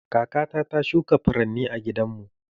Kakata ta shuka furanni a gidanmu.